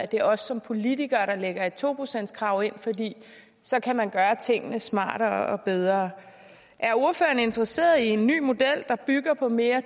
det er os som politikere der lægger et to procentskrav ind for så kan man gøre tingene smartere og bedre er ordføreren interesseret i en ny model der bygger på mere